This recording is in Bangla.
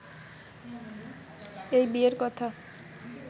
এই বিয়ের কথা